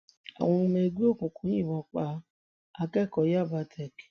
àwọn ọmọ ẹgbẹ òkùnkùn yìnbọn pa akẹkọọ yabatech